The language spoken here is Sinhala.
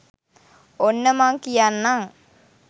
ඔන්න මං කියන්නං